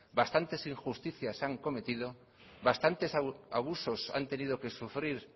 bastantes injusticias se han cometido bastantes abusos han tenido que sufrir